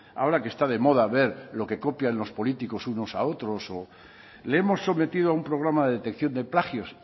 ahora que está de moda ver lo que copian los políticos unos a otros le hemos sometido a un programa de detección de plagios